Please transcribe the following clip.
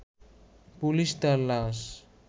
police তার লাশ